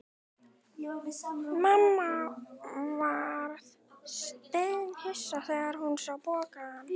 Mamma varð steinhissa þegar hún sá pokann.